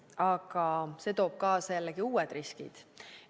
Aga see toob kaasa jällegi uued riskid.